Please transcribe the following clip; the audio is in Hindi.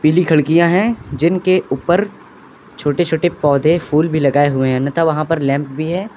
पीली खिड़कियां है जिनके ऊपर छोटे छोटे पौधे फूल भी लगाए हुए है। अन्यथा वहां पर लैंप भी है।